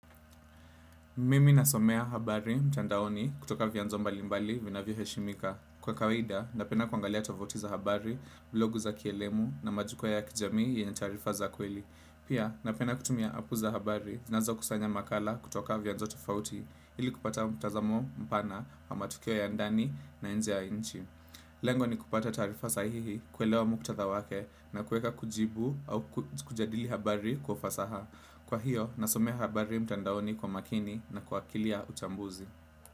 Mimi nasomea habari mtandaoni kutoka vyanzo mbalimbali vinavyo heshimika. Kwa kawaida, napenda kuangalia tovuti za habari, blogu za kielimu na majukwaa ya kijamii yenye tarifa za kweli. Pia, napenda kutumia apu za habari, zinazo kusanya makala kutoka vyanzo tofauti, ili kupata mtazamo mpana wa matukio ya ndani na nji ya inchi. Lengo ni kupata taarifa sahihi kuelewa muktadha wake na kueka kujibu au kujadili habari kwa ufasaha. Kwa hiyo, nasomea habari mtandaoni kwa makini na kwa akili ya uchambuzi.